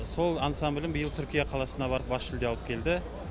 сол ансамблім биыл түркия қаласына барып бас жүлде алып келді